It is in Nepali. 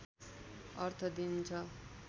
अर्थ दिन्छ